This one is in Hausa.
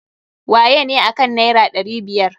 Wayene akan naira ɗari biyar?